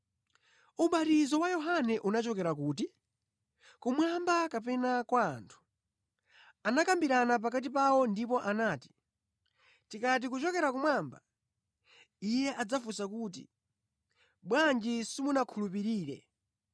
Ubatizo wa Yohane unachokera kuti? Kumwamba kapena kwa anthu?” Anakambirana pakati pawo ndipo anati, “Tikati, ‘Kuchokera kumwamba,’ Iye adzafunsa kuti, ‘Bwanji simunakhulupirire?’